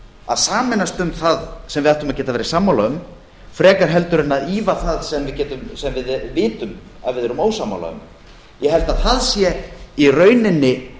að sameinast um það sem við ættum að geta verið sammála um frekar heldur en að ýfa það sem við vitum að við erum ósammála um ég held að það sé í rauninni